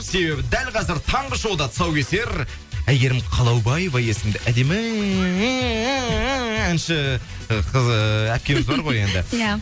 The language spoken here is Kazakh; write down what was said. себебі дәл қазір таңғы шоуда тұсаукесер әйгерім қалаубаева есімді әдемі әнші ы әпкеміз бар ғой енді иә